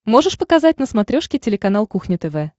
можешь показать на смотрешке телеканал кухня тв